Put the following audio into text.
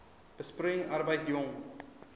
besproeiing arbeid jong